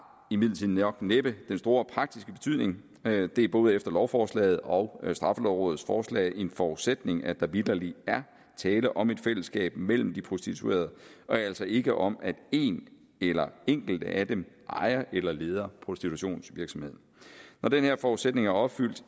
imidlertid nok næppe den store praktiske betydning det er både efter lovforslaget og straffelovrådets forslag en forudsætning at der vitterlig er tale om et fællesskab mellem de prostituerede og altså ikke om at en eller enkelte af dem ejer eller leder prostitutionsvirksomheden når den her forudsætning er opfyldt